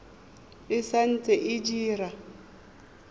e sa ntse e dira